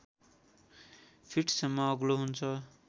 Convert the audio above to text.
फिटसम्म अग्लो हुन्छ